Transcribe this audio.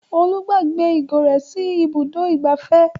Olú gbàgbé ìgò rẹ̀ sí Ibùdó-ìgbafẹ́.